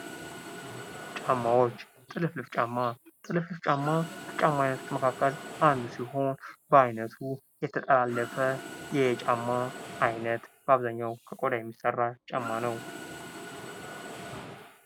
ጫማዎች ። ጥልፍልፍ ጫማ ፡ ጥልፍልፍ ጫማ ከጫማ አይነቶች መካከል አንዱ ሲሆን በአይነቱ የተጠላለፈ የጫማ አይነት በአብዛኛው ከቆዳ የሚሰራ ጫማ ነው ።